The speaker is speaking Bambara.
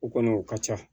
O kɔni o ka ca